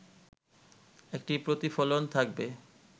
একটি প্রতিফলন থাকবে